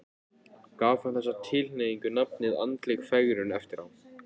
Gaf hann þessari tilhneigingu nafnið andleg fegrun eftir á.